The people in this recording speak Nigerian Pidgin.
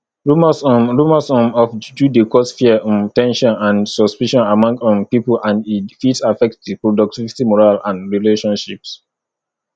rumors um rumors um of juju dey cause fear um ten sion and suspicion among um people and e fit affect di productivity morale and relationships